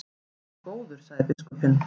En góður, sagði biskupinn.